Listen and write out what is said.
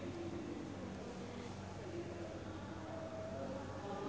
Ipank BIP jeung Louis Armstrong keur dipoto ku wartawan